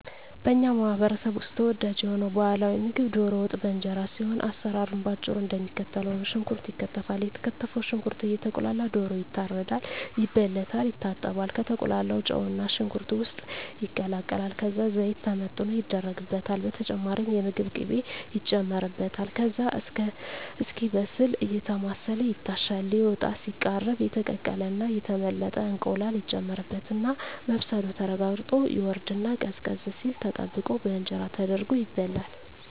በኛ ማህበረሰብ ውስጥ ተወዳጅ የሆነው ባህላዊ ምግብ ደሮ ወጥ በእንጀራ ሲሆን አሰራሩም በአጭሩ እደሚከተለው ነው። ሽንኩርት ይከተፋል የተከተፈው ሽንኩርት እየቁላላ ደሮ ይታረዳል፣ ይበለታል፣ ይታጠባል፣ ከተቁላላው ጨውና ሽንኩርት ውስጥ ይቀላቀላል ከዛ ዘይት ተመጥኖ ይደረግበታል በተጨማሪም የምግብ ቅቤ ይጨመርበታል ከዛ እስኪበስል አየተማሰለ ይታሻል ሊወጣ ሲቃረብ የተቀቀለና የተመለጠ እንቁላል ይጨመርበትና መብሰሉ ተረጋግጦ ይወርድና ቀዝቀዝ ሲል ተጠብቆ በእንጀራ ተደርጎ ይበላል።